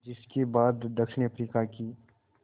जिस के बाद दक्षिण अफ्रीका की